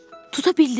Tuta bildilər?